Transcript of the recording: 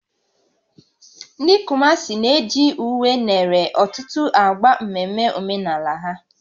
Ndị Kumasi na-eji uwe nere ọtụtụ ágbá mmemme omenala ha